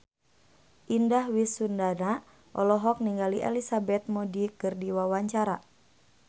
Indah Wisnuwardana olohok ningali Elizabeth Moody keur diwawancara